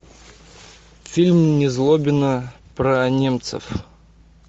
фильм незлобина про немцев